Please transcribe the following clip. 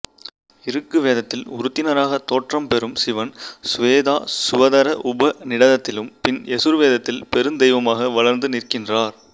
இருக்கு வேதத்தில் உருத்திரனாக தோற்றம் பெறும் சிவன் சுவேதாசுவதர உபநிடதத்திலும் பின் யசுர்வேதத்தில் பெருந்தெய்வமாக வளர்ந்து நிற்கின்றார்